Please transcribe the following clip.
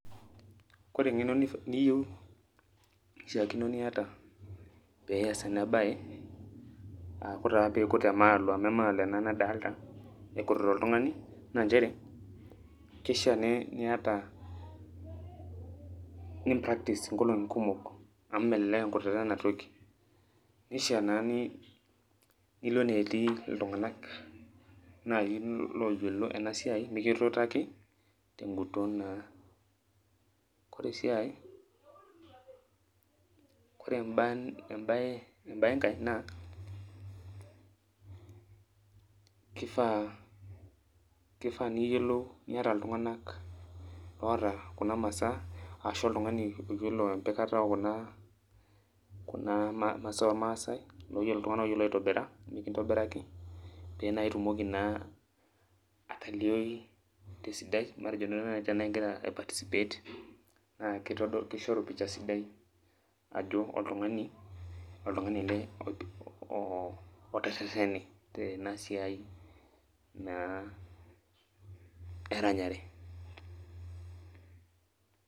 Kore eng'eno niyieu, pishaakino niata, peas enabae, ah kore taa piikut emaalo amu emaalo ena nadalta ekutita oltung'ani, na njere, kishaa niata ni practice inkolong'i kumok, amu melelek enkutata enatoki. Nishaa naa nilo enetii oltung'ani nai loyiolo enasiai mikituutaki, teguton naa. Kore si ai, kore ebae enkae naa, kifaa, kifaa niyiolou niata iltung'anak oata kuna masaa, ashu oltung'ani oyiolo empikata ekuna kuna masaa ormaasai, iltung'anak oyiolo aitobira, mikintobiraki, pe naa itumoki naa atalioyu tesidai, matejo duo nai tenaa igira ai participate, ah kishoru pisha sidai, ajo oltung'ani ele oterrerrene tenasiai naa eranyare.